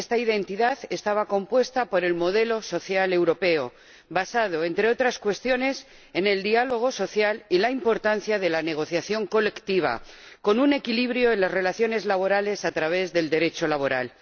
Esta identidad estaba compuesta por el modelo social europeo, basado, entre otras cuestiones, en el diálogo social y en la importancia de la negociación colectiva, con un equilibrio en las relaciones laborales a través del Derecho laboral.